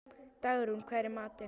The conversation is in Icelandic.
Dagrún, hvað er í matinn?